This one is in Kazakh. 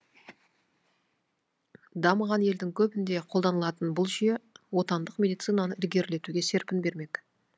дамыған елдің көбінде қолданылатын бұл жүйе отандық медицинаны ілгерілетуге серпін бермек